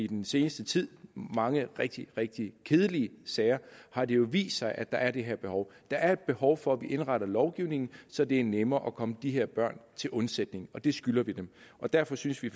den seneste tid mange rigtig rigtig kedelige sager har det jo vist sig at der er det her behov der er et behov for at vi indretter lovgivningen så det er nemmere at komme de her børn til undsætning og det skylder vi dem og derfor synes vi